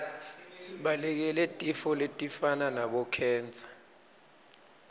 sibalekele tifo letifana nabo khensa